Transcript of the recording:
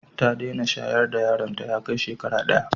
Ta dena shayarwa da yaron ta ya Kai shekara daya